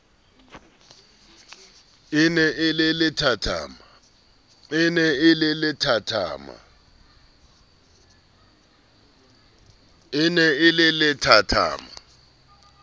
e ne e le lethathama